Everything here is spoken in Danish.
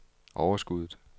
overskuddet